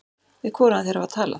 Við hvorugan þeirra var talað.